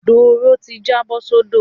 Doro ti jábọ́ sódò.